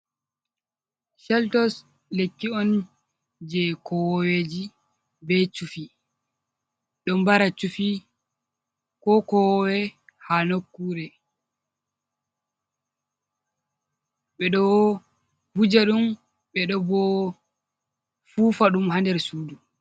Cheltos lekki on je kowoweji be chufi, ɗo mbara chuffi ko kowowe ha nokkure, ɓe ɗo wuja ɗum ɓeɗo bo fufa ɗum ha nder sudu.